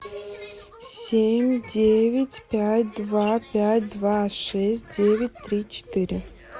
семь девять пять два пять два шесть девять три четыре